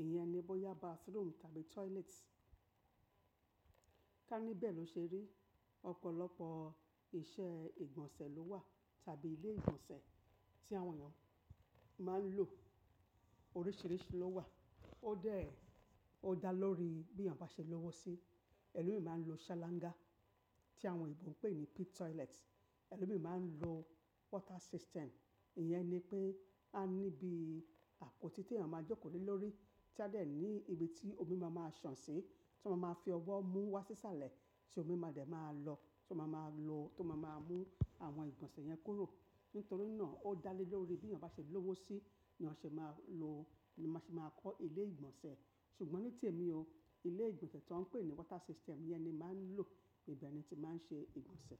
ìyẹn ni bọ́yá bathroom tàbí toilet. Ká níbẹ̀ ló ṣe rí, ọ̀pọ̀lọpọ̀ iṣẹ́ ìgbọ̀nsẹ̀ ló wà tàbí ilé ìgbọ̀nsẹ̀ tí àwọn èèyàn máa ń lò. Oríṣìíríṣìí ló wà, ó dà lórí bí èyàn bá ṣe lówó sí i. Ẹ̀lọ́mi máa ń lo salanga tí àwọn òyìnbó ń pè ní pit toilet. Ẹ̀lọ́mi máa ń lo water system. Ìyẹn ni pé a ní ibi àpótí tí èyàn máa joko lé lórí, tí a dẹ̀ ní ibi tí omi máa máa sàn sí, tó máa máa fi ọwọ́ mú wá sí sàlẹ̀ tí omi máa dẹ̀ máa lọ, tí ó máa máa lo, tí ó máa máa mú àwọn ìgbọ̀nsẹ̀ yẹn kúrò. Nítorí náà ó dà lé lórí bí èyàn bá ṣe lówó sí i ni èyàn ṣe máa lo, ni má ṣe máa kọ́ ilé ìgbọ̀nsẹ̀. Ṣùgbọ́n ní tèmi o, ilé ìgbọ̀nsẹ̀ tó ń pè ní water system yẹn ni màá ń lò. Ìbẹ̀ ni ti máa ń ṣe ìgbọ̀nsẹ̀.